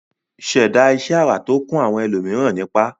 ṣẹ̀dá iṣẹ́ ara tó kún àwọn ẹlòmíràn nípá